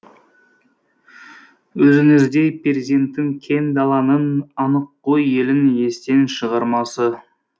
өзіңіздей перзентін кең даланың аныққой елің естен шығармасы